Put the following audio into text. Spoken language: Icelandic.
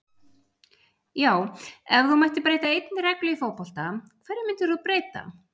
Já Ef þú mættir breyta einni reglu í fótbolta, hverju myndir þú breyta?